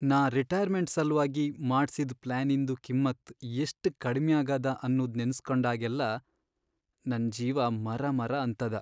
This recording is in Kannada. ನಾ ರಿಟೈರ್ಮೆಂಟ್ ಸಲ್ವಾಗಿ ಮಾಡ್ಸಿದ್ ಪ್ಲಾನಿಂದು ಕಿಮ್ಮತ್ತ್ ಎಷ್ಟ್ ಕಡಿಮ್ಯಾಗಾದ ಅನ್ನೂದ್ ನೆನಸ್ಕೊಂಡಾಗೆಲ್ಲಾ ನಂಗ್ ಜೀವ ಮರಮರಾ ಅಂತದ.